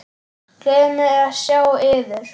Gleður mig að sjá yður.